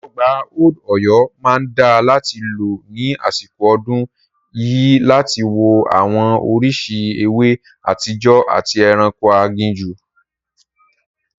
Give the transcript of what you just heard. Ọgbà Old Ọ̀yọ́ máa dáa láti lọ ní àsìkò ọdún yìí láti wo àwọn oríṣìí ewé àtijọ́ àti ẹranko aginjù.